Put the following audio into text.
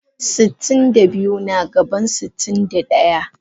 Sitin da biyu na gaban sitin da daya.